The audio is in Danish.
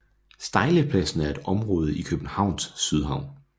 Stejlepladsen er et område i Københavns Sydhavn